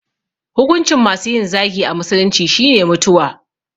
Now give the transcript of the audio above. Hukuncin masu yin zagi a musulunci shine mutuwa